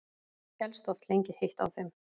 Hélst oft lengi heitt á þeim.